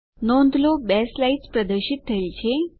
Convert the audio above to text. નોંધ લો બે સ્લાઇડ્સ પ્રદર્શિત થયેલ છે